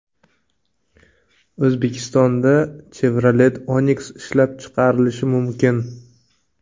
O‘zbekistonda Chevrolet Onix ishlab chiqarilishi mumkin.